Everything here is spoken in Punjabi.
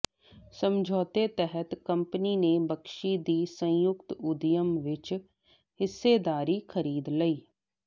ਸਮਝੌਤੇ ਤਹਿਤ ਕੰਪਨੀ ਨੇ ਬਖਸ਼ੀ ਦੀ ਸੰਯੁਕਤ ਉਦਯਮ ਵਿਚ ਹਿੱਸੇਦਾਰੀ ਖਰੀਦ ਲਈ